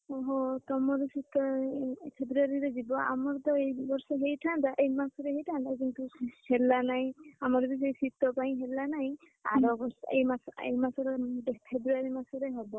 ଓହୋ ତମର ଶୀତ February ରେ ଯିବ ଆମର ତ ଏଇ ବର୍ଷ ହେଇଥାନ୍ତା ଏଇ ମାସରେ ହେଇଥାନ୍ତା କିନ୍ତୁ ହେଲା ନାଇଁ ଆମର ବି ସେଇ ଶୀତ ପାଇଁ ହେଲା ନାଇଁ ଏଇ ମାସ ଏଇ ମାସର February ମାସରେ ହବ।